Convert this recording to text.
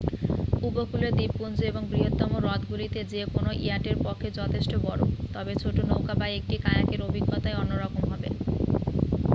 উপকূলীয় দ্বীপপুঞ্জ এবং বৃহত্তম হ্রদগুলিতে যে কোনও ইয়াটের পক্ষে যথেষ্ট বড় তবে ছোট নৌকা বা একটি কায়াকের অভিজ্ঞতাই অন্যরকম হবে